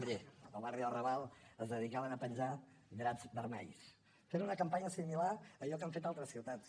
miri al barri del raval es dedicaven a penjar draps vermells fent una campanya similar a allò que han fet altres ciutats